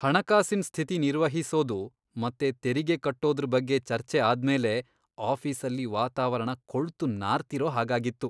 ಹಣಕಾಸಿನ್ ಸ್ಥಿತಿ ನಿರ್ವಹಿಸೋದು ಮತ್ತೆ ತೆರಿಗೆ ಕಟ್ಟೋದ್ರ್ ಬಗ್ಗೆ ಚರ್ಚೆ ಆದ್ಮೇಲೆ ಆಫೀಸಲ್ಲಿ ವಾತಾವರಣ ಕೊಳ್ತು ನಾರ್ತಿರೋ ಹಾಗಾಗಿತ್ತು.